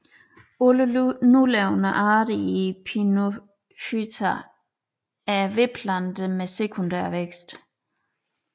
Alle nulevende arter i Pinophyta er vedplanter med sekundær vækst